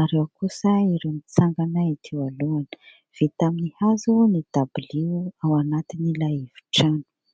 ary ao kosa ireo mitsangana ety alohany; vita amin'ny hazo ny dabilio ao anatiny ilay efitrano.